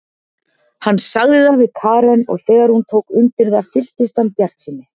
Hann sagði það við Karen og þegar hún tók undir það fylltist hann bjartsýni.